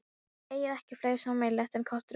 Þið eigið ekki fleira sameiginlegt en köttur og mús.